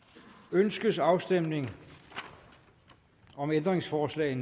ønskes afstemning om ændringsforslag